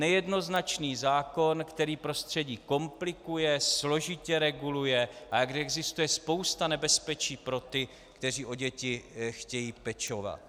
Nejednoznačný zákon, který prostředí komplikuje, složitě reguluje a kde existuje spousta nebezpečí pro ty, kteří o děti chtějí pečovat.